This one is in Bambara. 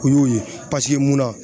O y'o ye munna